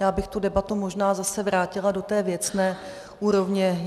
Já bych tu debatu možná zase vrátila do té věcné úrovně.